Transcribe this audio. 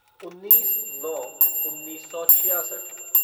उन्नीस नौ उन्नीस सौ छियासठ